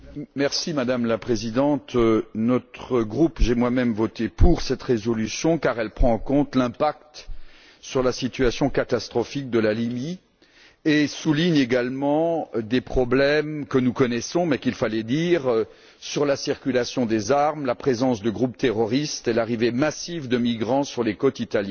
Madame la Présidente, j'ai moi même voté pour cette résolution car elle prend en compte l'impact sur la situation catastrophique de la Libye et souligne également des problèmes que nous connaissons mais qu'il fallait dire, à savoir la circulation des armes, la présence de groupes terroristes et l'arrivée massive de migrants sur les côtes italiennes.